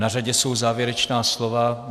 Na řadě jsou závěrečná slova.